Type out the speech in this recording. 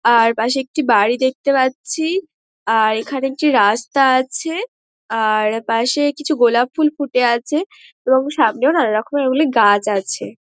আর পাশে একটি বাড়ি দেখতে পারছি। আর এইখানে একটি রাস্তা আছে। আর পাশে কিছু গোলাপফুল ফুঁটে আছে এবং সামনেও নানারকমের ওই গুলি গাছ আছে।